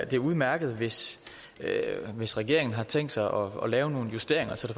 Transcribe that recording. det er udmærket hvis hvis regeringen har tænkt sig at lave nogle justeringer så det